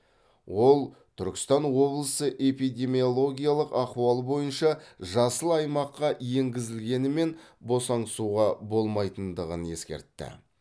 ол түркістан облысы эпидемиологиялық ахуал бойынша жасыл аймаққа енгізілгенімен босаңсуға болмайтындығын ескертті